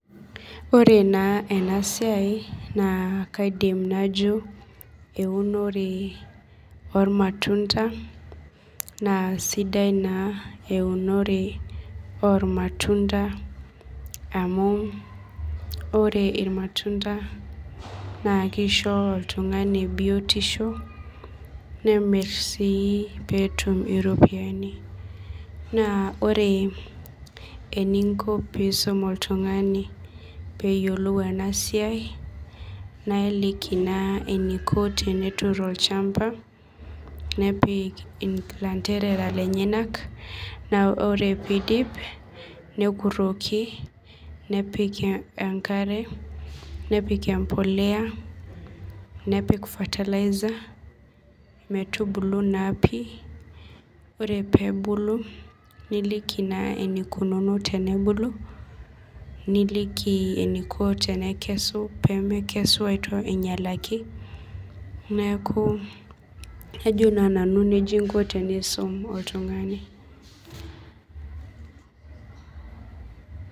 Ore naa ena siai naa kaidim najo eunore oormatunda naa sidai naa eunore ormatunta naa keisho oltung'ani biotisho neret sii peetum iropiyiani naa ore eninko peisum oltung'ani peeyiolou ena siai naa iliki ilanterera lenyanak ore peindip nepik enkare nepik fertilizer ore peebulu niliiki naa eneikunu tenubulu niliki eneiko tenekesu peemekesu ainyialaki neeku ajo naa nanu nejia inko tenisum oltung'ani